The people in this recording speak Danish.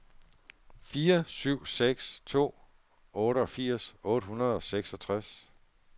fire syv seks to otteogfirs otte hundrede og seksogtres